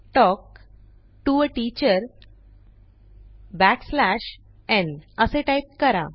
talk to a teacher backslash n असे type करा